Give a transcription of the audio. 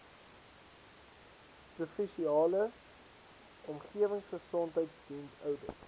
provinsiale omgewingsgesondheidsdiens oudit